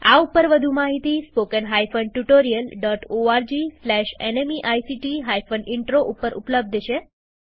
આ ઉપર વધુ માહિતી spoken hyphen tutorial dot org slash NMEICT hyphen intro ઉપર ઉપલબ્ધ છે